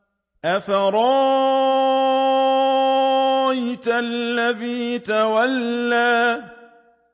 أَفَرَأَيْتَ الَّذِي تَوَلَّىٰ